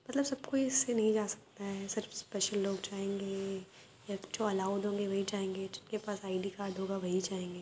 मतलब सब कोई इससे नहीं जा सकता है सिर्फ स्पेशल लोग जायेंगे या फिर जो अलाउड होंगे वहीं जायेंगे जिनके पास आई.डी. कार्ड होगा वहीं जायेंगे।